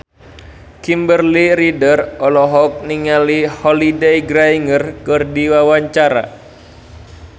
Kimberly Ryder olohok ningali Holliday Grainger keur diwawancara